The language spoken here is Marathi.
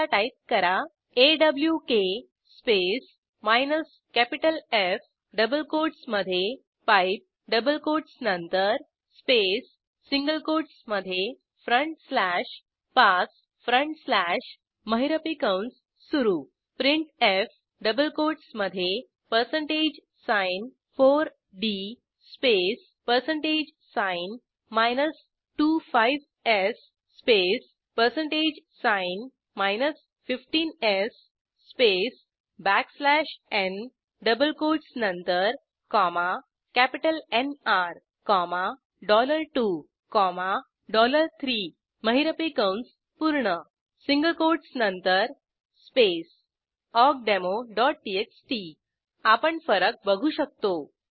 आता टाईप करा awk space F double quotes मध्ये । डबल कोट्स नंतर स्पेस सिंगल कोट्स मध्ये फ्रंट स्लॅश Passfront स्लॅश महिरपी कंस सुरू printf डबल कोट्स मध्ये 4d 25s 15s space backslash n double quotes नंतर NR23 महिरपी कंस पूर्ण सिंगल कोट्स नंतर स्पेस awkdemoटीएक्सटी आपण फरक बघू शकतो